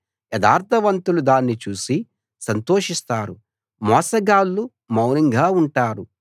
యథార్థవంతులు దాన్ని చూసి సంతోషిస్తారు మోసగాళ్ళు మౌనంగా ఉంటారు